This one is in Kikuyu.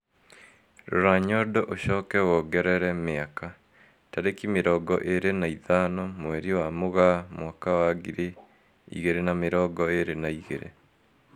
Rora nyondo ucoke wongerere miaka, tariki mirongo iri na ithano mweri wa Mugaa mwaka wa ngiri igiri na mirongo irir na igiri